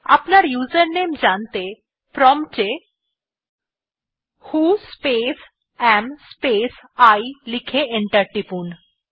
আপনার ইউজারনেম জানতে প্রম্পট এ who space A M space I লিখে এন্টার টিপুন